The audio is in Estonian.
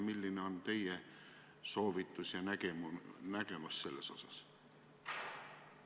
Milline on teie soovitus ja nägemus selles osas?